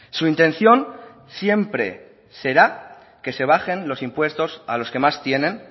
su intención siempre será que se bajen los impuestos a los que más tienen